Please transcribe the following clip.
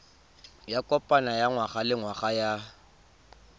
ya kopano ya ngwagalengwaga ya